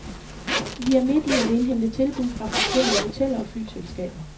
Vi er midt i at indhente tilbud fra forskellige hoteller og flyselskaber.